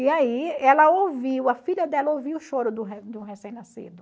E aí ela ouviu, a filha dela ouviu o choro do do recém-nascido.